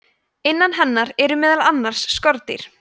innan hennar eru meðal annars skordýr